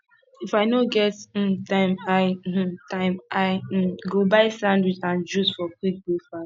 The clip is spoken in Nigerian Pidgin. if i no get um time i um time i um go buy sandwich and juice for quick breakfast